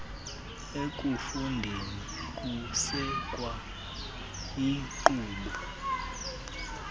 ekufundeni kusekwa iinkqubo